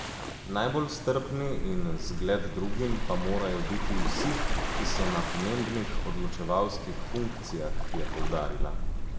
Najbolj strpni in zgled drugim pa morajo biti vsi, ki so na pomembnih odločevalskih funkcijah, je poudarila.